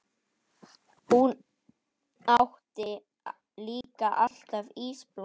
Hún átti líka alltaf ísblóm.